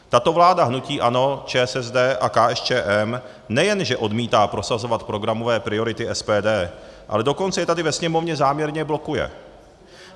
Tato vláda hnutí ANO, ČSSD a KSČM nejenže odmítá prosazovat programové priority SPD, ale dokonce je tady ve Sněmovně záměrně blokuje.